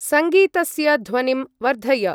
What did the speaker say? संगीतस्य ध्वनिं वर्धय।